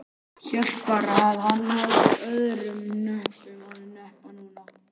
Hélt bara að hann hefði öðrum hnöppum að hneppa núna.